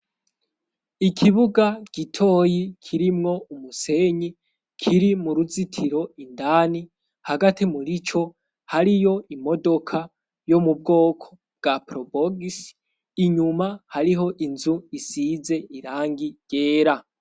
Ikibuga gitoyi kirimwo umusenyi kiri mu ruzitiro indani, hagati murico hariyo imodoka yo mu bwoko bwa porobogisi, inyuma hariho inzu isize irangi ryera.